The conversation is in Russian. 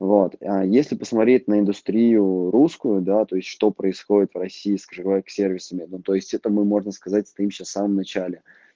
вот а если посмотреть на индустрию русскую да то есть что происходит в россии скрывают сервисами ну то есть это мы можно сказать стоим сейчас в самом начале